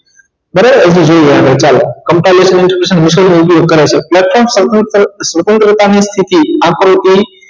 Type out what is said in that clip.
બરાબર તો જોઈએ આપણે ચાલો વસૂલ નો ઉપયોગ કરે છે સ્વતંત્રતા ની ટીકી આકૃતિ